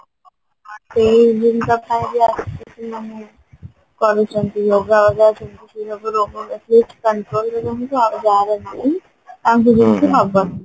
କରୁଚନ୍ତି yoga yoga କିନ୍ତୁ ରୋଗ ବ୍ୟାଧି ଅଛି ଆଉ ଯାହାର ନାହିଁ ତାଙ୍କୁ ଯେମିତି ନ